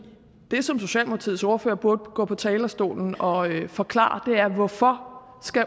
det som socialdemokratiets ordfører burde gå på talerstolen og forklare er hvorfor